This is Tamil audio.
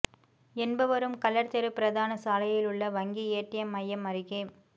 என்பவரும் கள்ளர் தெரு பிரதான சாலையிலுள்ள வங்கி ஏடிஏம் மையம் அருகே